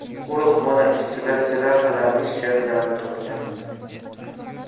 Qo‘riqxona ishchilari jirafalarning suyaklarini topgan.